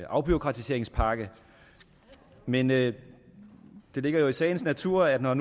afbureaukratiseringspakke men det ligger jo i sagens natur at når